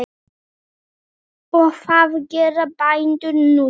Og hvað gera bændur núna?